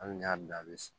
Hali n'i y'a bila a bɛ